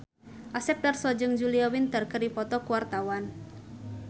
Asep Darso jeung Julia Winter keur dipoto ku wartawan